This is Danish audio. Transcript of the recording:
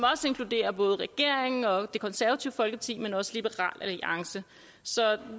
inkluderer både regeringen og det konservative folkeparti men også liberal alliance så